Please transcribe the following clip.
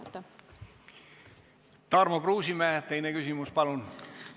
Tarmo Kruusimäe, teine küsimus, palun!